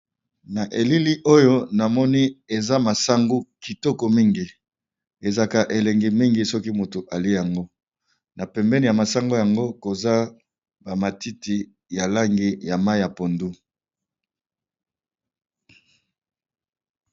Na elili oyo namoni eza masangu kitoko mingi ezalaka elengi mingi soki moto alie yango, na pembeni ya masangu yango koza ba matiti ya langi ya mayi ya pondu.